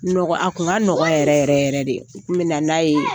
Nɔgɔ a tun ka nɔgɔ yɛrɛ yɛrɛ yɛrɛ de, u tu bɛ na n'a ye.